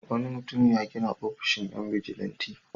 Wani mutum ya gina ofishin 'yan bijilanti.